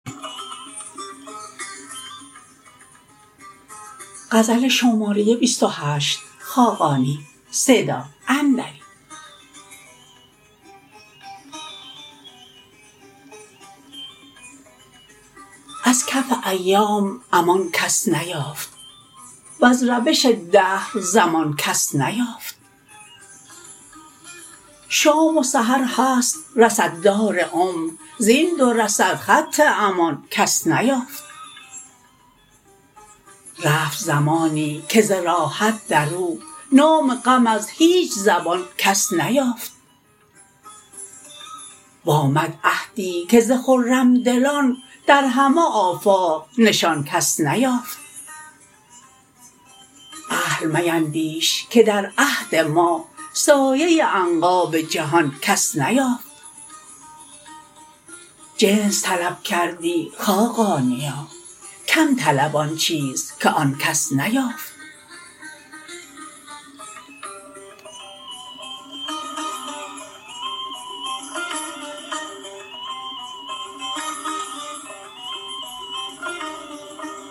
از کف ایام امان کس نیافت وز روش دهر زمان کس نیافت شام و سحر هست رصددار عمر زین دو رصد خط امان کس نیافت رفت زمانی که ز راحت در او نام غم از هیچ زبان کس نیافت و آمد عهدی که ز خرم دلان در همه آفاق نشان کس نیافت اهل میندیش که در عهد ما سایه عنقا به جهان کس نیافت جنس طلب کردی خاقانیا کم طلب آن چیز که آن کس نیافت